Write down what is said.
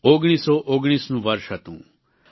1919નું વર્ષ હતું